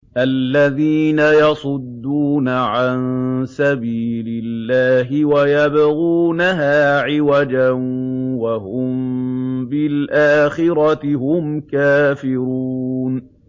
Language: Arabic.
الَّذِينَ يَصُدُّونَ عَن سَبِيلِ اللَّهِ وَيَبْغُونَهَا عِوَجًا وَهُم بِالْآخِرَةِ هُمْ كَافِرُونَ